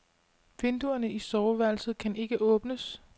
Vinduerne i soveværelset kan ikke åbnes.